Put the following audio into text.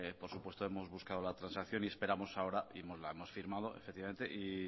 por supuesto hemos buscado la transacción y esperamos ahora y la hemos firmado efectivamente y